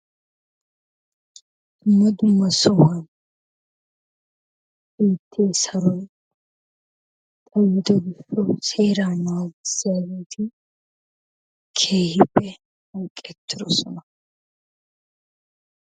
Dumma dumma saruwa biite saroy awude seeraa naaggissiyageti keehippe hanqqetidosona.